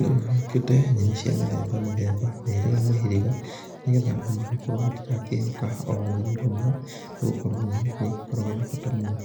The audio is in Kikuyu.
Nĩgũgĩũkĩte nyenĩ cia mĩthemba mĩthemba mĩhĩrĩga mĩhĩrĩga nĩgetha andũ magĩkorwo matirakĩhoka o rũnyenĩ rũmwe, nĩgũkorwo nyenĩ nĩ ĩgĩkoragwo na bata mũno